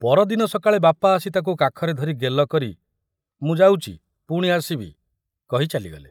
ପରଦିନ ସକାଳେ ବାପା ଆସି ତାକୁ କାଖରେ ଧରି ଗେଲ କରି, ' ମୁଁ ଯାଉଚି ପୁଣି ଆସିବି ' କହି ଚାଲିଗଲେ।